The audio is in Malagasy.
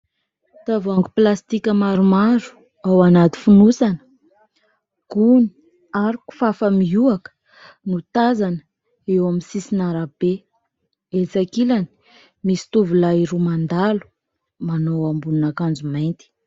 Tavoahangy pilastika maromaro ao anaty fonosana gony ary kofafa miohoka no tazana eo amin'ny sisin' arabe, etsy ankilany misy tovolahy roa mandalo manao ambonin'akanjo mainty.